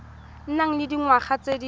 nang le dingwaga tse di